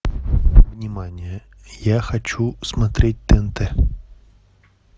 внимание я хочу смотреть тнт